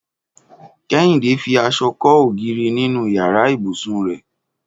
Kẹ́hìndé fi aṣọ kọ́ ògiri nínú yàrá ibùsùn rẹ̀